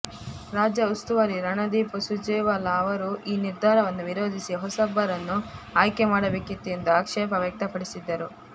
ರಾಜ್ಯ ಉಸ್ತುವಾರಿ ರಣದೀಪ್ ಸುರ್ಜೇವಾಲ ಅವರು ಈ ನಿರ್ಧಾರವನ್ನು ವಿರೋಧಿಸಿ ಹೊಸಬರನ್ನು ಆಯ್ಕೆ ಮಾಡಬೇಕಿತ್ತು ಎಂದು ಆಕ್ಷೇಪ ವ್ಯಕ್ತಪಡಿಸಿದ್ದರು